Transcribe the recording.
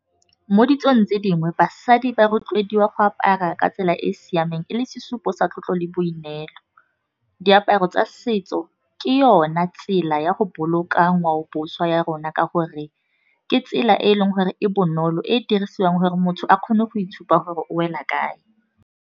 Mo ditsong tse dingwe basadi ba rotloediwa go apara ka tsela e e siameng e le sesupo sa tlotlo le boineelo. Diaparo tsa setso ke yona tsela ya go boloka ngwao boswa ya rona ka gore ke tsela e e leng gore e bonolo e e dirisiwang gore motho a kgone go itshupa gore o wela kae.